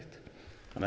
þannig